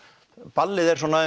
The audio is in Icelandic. ballið er svona